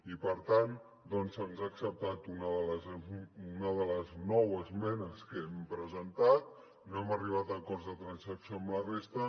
i per tant doncs se’ns ha acceptat una de les nou esmenes que hem presentat no hem arribat a acords de transacció amb la resta